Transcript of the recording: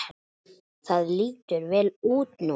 Það lítur vel út núna.